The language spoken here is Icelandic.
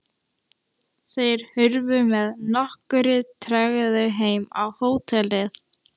Þeir hurfu með nokkurri tregðu heim á hótelið.